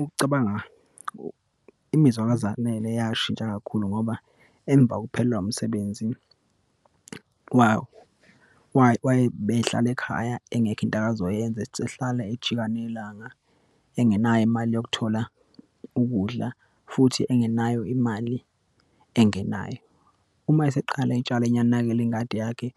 Ukucabanga imizwa kaZanele yashintsha kakhulu ngoba, emva kokuphelwa umsebenzi ubehlala ekhaya, ingekho into akazoyenza, ehlala ejika nelanga, engenayo imali yokuthola ukudla, futhi engenayo imali engenayo. Uma eseqala etshala enakekela ingadi yakhe,